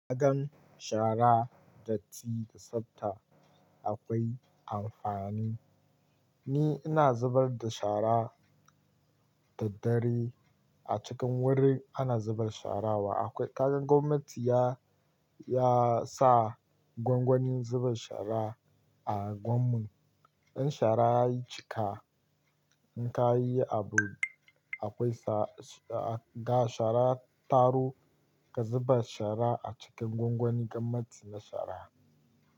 Kagan shara, datti da tsafta akwai amfani. Ni ina zubar da shara da dare a cikin wurin ana zubar shara wa. Akwai kaga gwamnati ya, ya sa gwangwani zubar shara a unguwanmun. In shara yayi cika, in ka yi abun akwai sa, ga shara taro ka zuba shara a cikin gwangwani gwamnati na shara.